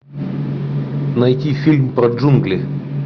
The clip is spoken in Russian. найти фильм про джунгли